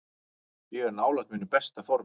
Ég er nálægt mínu besta formi.